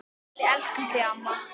Við elskum þig amma.